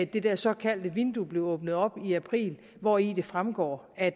det der såkaldte vindue blev åbnet op i april hvori det fremgår at